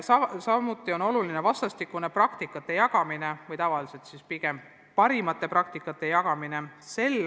Samuti on tähtis vastastikune praktikate jagamine või pigem siis parimate praktikate jagamine.